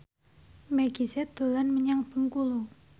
Meggie Z dolan menyang Bengkulu